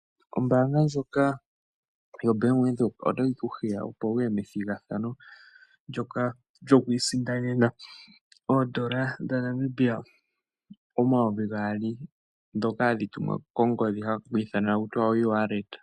Ombaanga ndjoka yoBank Windhoek otayi ku hiya, opo wu ye methigathano ndyoka lyoku isindanena N$ 2000 ndhoka hadhi tumwa kongodhi ta ku tiwa oewalleta.